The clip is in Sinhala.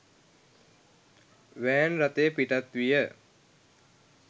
වෑන් රථය පිටත් විය.